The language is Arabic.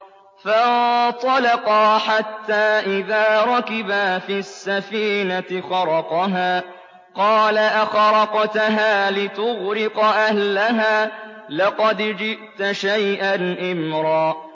فَانطَلَقَا حَتَّىٰ إِذَا رَكِبَا فِي السَّفِينَةِ خَرَقَهَا ۖ قَالَ أَخَرَقْتَهَا لِتُغْرِقَ أَهْلَهَا لَقَدْ جِئْتَ شَيْئًا إِمْرًا